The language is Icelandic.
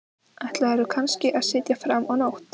Ætlaðirðu kannski að sitja fram á nótt?